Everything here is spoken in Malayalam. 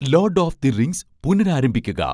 load of the rings' പുനരാരംഭിക്കുക